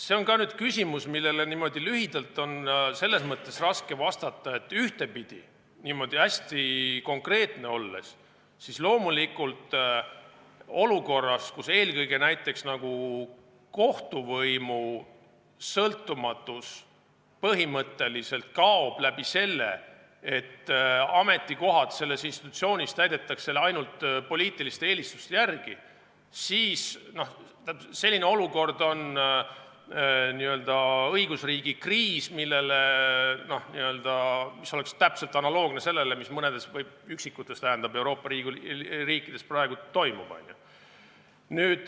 See on ka küsimus, millele on niimoodi lühidalt raske vastata, et ühtepidi, hästi konkreetne olles, loomulikult olukord, kus eelkõige näiteks kohtuvõimu sõltumatus põhimõtteliselt kaob läbi selle, et ametikohad selles institutsioonis täidetakse ainult poliitiliste eelistuste järgi, oleks õigusriigi kriis, analoogne sellega, mis mõnes üksikus Euroopa riigis praegu toimub.